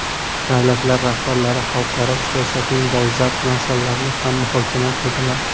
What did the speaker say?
Davlatlar rahbarlari xalqaro siyosatning dolzarb masalalarini ham muhokama qildilar.